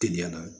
Teliya la